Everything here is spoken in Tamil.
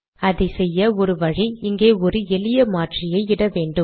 அதை செய்ய ஒரு வழி இங்கே ஒரு எளிய மாற்றியை இட வேண்டும்